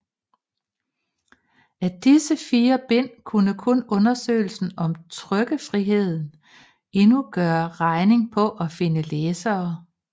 Af disse 4 bind kunne kun undersøgelserne om trykkefriheden endnu gøre regning på at finde læsere